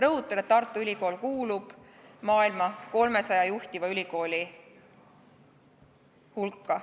Rõhutan, et Tartu Ülikool kuulub maailma 300 juhtiva ülikooli hulka.